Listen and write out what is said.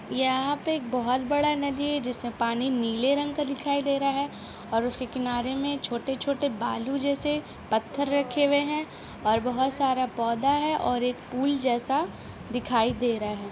यहा पे एक बहोत बड़ा नदी है जिसमे पानी नीले रंग का दिखाय दे रहा है और उसके किनारे में छोटे छोटे बालू जैसे पत्थर रखे हुए है और बहोत सारा पौधा है और एक पूल जैसा दिखाय दे रहा है।